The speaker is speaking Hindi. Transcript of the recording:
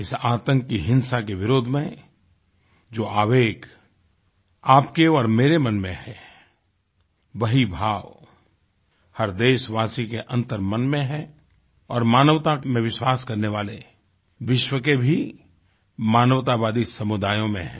इस आतंकी हिंसा के विरोध में जो आवेग आपके और मेरे मन में है वही भाव हर देशवासी के अंतर्मन में है और मानवता में विश्वास करने वाले विश्व के भी मानवतावादी समुदायों में है